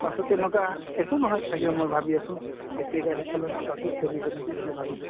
পাছত তেনকা একো নহয় চাগে মই ভাবি আছো, এতিয়া গাড়ী চলা নাই পাছত চলিব নেকি বুলি ভাবিলো